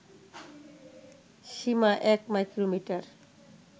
Seema ১ micrometer